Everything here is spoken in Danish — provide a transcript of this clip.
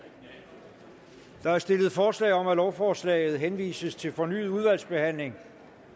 der er stillet forslag om at lovforslaget henvises til fornyet udvalgsbehandling